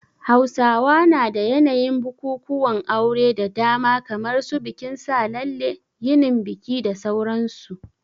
Hausawa na da yanayin bukukuwan auren da dama kamar su bikin sa lalle, yinin biki da sauran su.